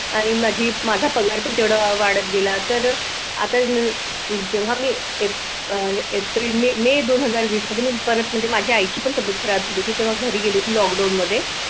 आणि माझी माझा पगार पण तेवढा वाढत गेला. तर अह आता जेव्हा मी एप्रिल-मे मे दोन हजार वीस मध्ये माझ्या आईची पण तब्येत खराब झाली होती. तेव्हा घरी गेली होती. लॉकडाऊन मध्ये